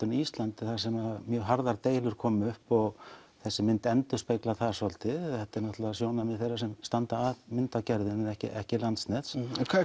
en Íslandi þar sem mjög harðar deilur koma upp og þessi mynd endurspeglar það svolítið þetta er sjónarmið þeirra sem standa að myndargerðinni Sen ekki Landsnets